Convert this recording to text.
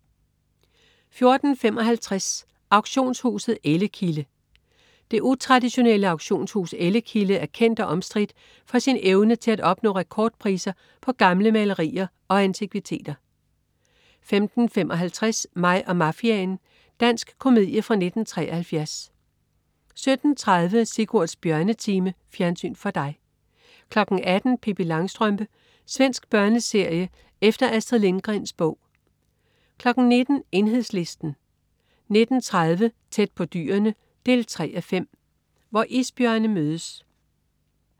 14.55 Auktionshuset Ellekilde. Det utraditionelle auktionshus Ellekilde er kendt og omstridt for sin evne til at opnå rekordpriser på gamle malerier og antikviteter 15.55 Mig og mafiaen. Dansk komedie fra 1973 17.30 Sigurds Bjørnetime. Fjernsyn for dig 18.00 Pippi Langstrømpe. Svensk børneserie efter Astrid Lindgrens bog 19.00 Enhedslisten 19.30 Tæt på dyrene 3:5. Hvor isbjørne mødes